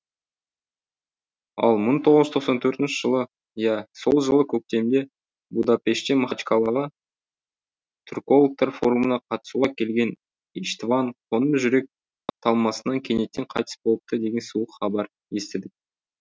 ал мың тоғыз жүз тоқсан төртінші жылы иә сол жылы көктемде будапештен махачкаладағы түркологтар форумына қатысуға келген иштван қоңыр жүрек талмасынан кенеттен қайтыс болыпты деген суық хабар естідік